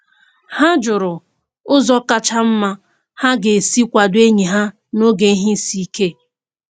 Ha jụrụ ụzọ kacha mma ha ga-esi kwado enyi ha n'oge ihe isi ike.